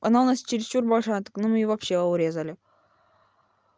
она у нас чересчур большая так нам её вообще урезали